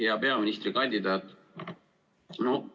Hea peaministrikandidaat!